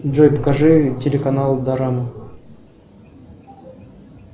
джой покажи телеканал дорама